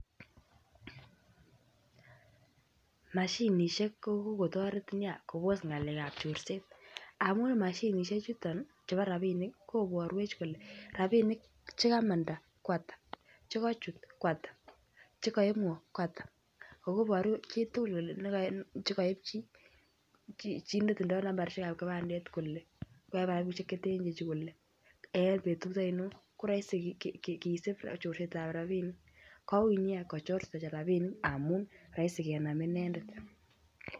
Mashinisiek ko kokotoret Nia kobos ngekab chorset amun mashinisiek chuton koborwech kole rabinik Che kamanda Ko Ata Che kochut ko Ata Che koib ngo ko Ata ago Iboru chitugul kole Che koib chi netindoi nambaisiek ab kibandet kole koib rabisiek Che ten chu ko roisi kisub chorset ab rabinik koui Nia kochor chito rabisiek amun roisi kenam inendet